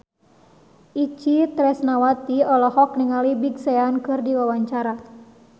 Itje Tresnawati olohok ningali Big Sean keur diwawancara